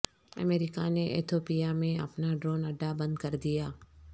امریکہ نے ایتھوپیا میں اپنا ڈرون اڈہ بند کر دیا